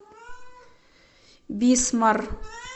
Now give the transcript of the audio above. бисмар